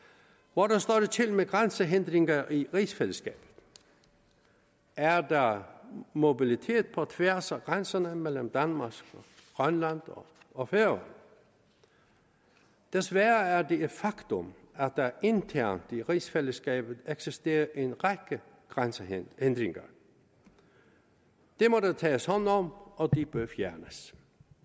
hvordan står det til med grænsehindringer i rigsfællesskabet er der mobilitet på tværs af grænserne mellem danmark og grønland og færøerne desværre er det et faktum at der internt i rigsfællesskabet eksisterer en række grænsehindringer det må der tages hånd om og de bør fjernes